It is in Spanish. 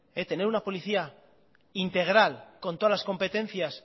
el tener una policía integral con todas las competencias